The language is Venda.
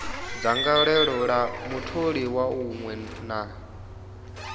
dzangalelo ḽa mutholiwa muṅwe na